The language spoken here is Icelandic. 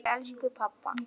Til elsku pabba.